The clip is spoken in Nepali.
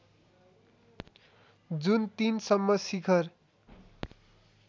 जुन ३ सम्म शिखर